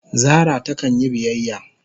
Zara ta kan yi biyyaya.